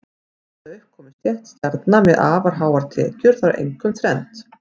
Til þess að upp komi stétt stjarna með afar háar tekjur þarf einkum þrennt.